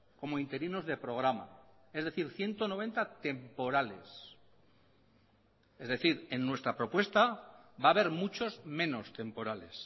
como interinos de programa es decir ciento noventa temporales es decir en nuestra propuesta va a haber muchos menos temporales